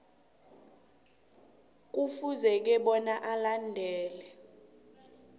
kufuze bona alandele